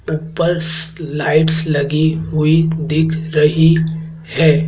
उपर्स lights लगी हुई दिख रही है।